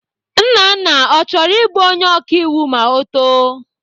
Nnanna ọ chọrọ ịbụ onye ọkaiwu ma ọ too?